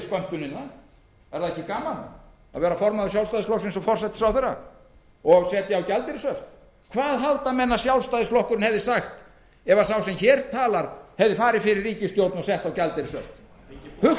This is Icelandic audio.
er ekki gaman að vera formaður sjálfstæðisflokksins og forsætisráðherra og setja á gjaldeyrishöft hvað halda menn að sjálfstæðisflokkurinn hefði sagt ef sá sem hér talar hefði farið fyrir ríkisstjórn og sett á